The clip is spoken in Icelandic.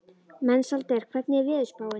Mensalder, hvernig er veðurspáin?